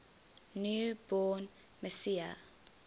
new born messiah